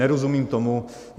Nerozumím tomu.